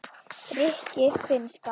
rikki- finnska